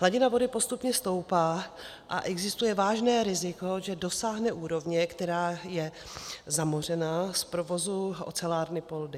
Hladina vody postupně stoupá a existuje vážné riziko, že dosáhne úrovně, která je zamořená z provozu ocelárny Poldi.